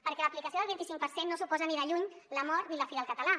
perquè l’aplicació del vint i cinc per cent no suposa ni de lluny la mort ni la fi del català